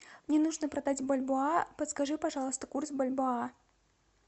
мне нужно продать бальбоа подскажи пожалуйста курс бальбоа